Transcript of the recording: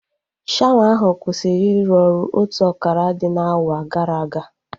Shawa ahụ kwụsịrị iru ọrụ otu akara dị n'awa gara aga